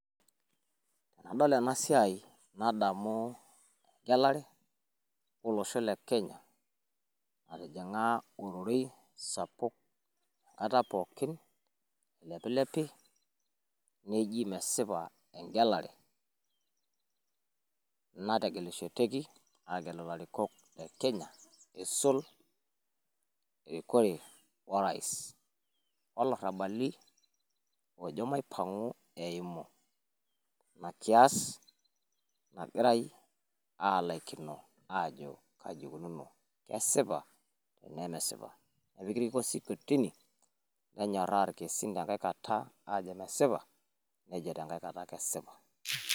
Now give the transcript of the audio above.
Enadol ena siai nadamu egelare o losho le Kenya natijing'a ororei sapuk. Enkata pookin eilepilepi neji mesipa egelare nategelekishoteki aagelu ilarikok le Kenya eisul erikore o rais. O larrabali oojo maipang'u eimu ina kias nagirai aalaikino aajo kaji ikununo kesipa enaa mesipa. Etipika olkesi kotini nenyoraa ilkesin te nkae Kata aajo mesipa nejo te nkae Kata kesipa.